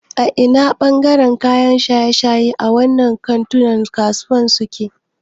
Ina ne ɓangaren kayan shaye-shaye a wannan kantunan kasuwancin suke?